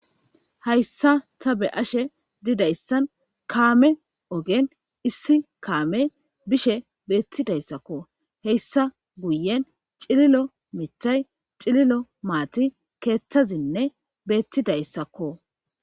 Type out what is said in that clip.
Hayssa ta be7ashe didayssan kaame ogen issi kaamey bishe beettidayssako.hayssa guyen cililo mithay cililo,cililo maati,keethazinne beettidayssakko.